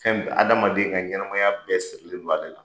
Fɛn bɛɛ adamadenya ka ɲɛnamaya bɛɛ sirilen don ale la.